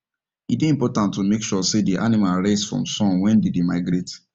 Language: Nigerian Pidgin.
e dey important to make sure say the animal rest from sun when them dey migrate